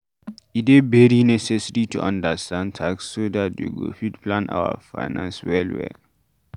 E dey very necessary to understand tax so dat we go fit plan our finances well